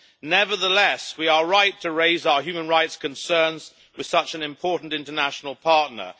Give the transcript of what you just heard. Nevertheless, we are right to raise our human rights concerns with such an important international partner.